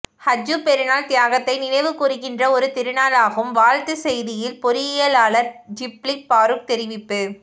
ஹஜ்ஜூப் பெருநாள் தியாகத்தை நினைவு கூறுக்கின்ற ஒரு திருநாளாகும் வாழ்த்துச் செய்தியில் பொறியியலாளர் ஷிப்லி பாறுக் தெரிவிப்பு